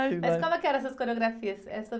Mas como é que eram essas coreografias?